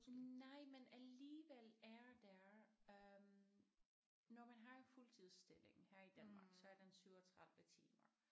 Nej men alligevel er der øh når man har en fuldtidsstilling her i Danmark så er den 37 timer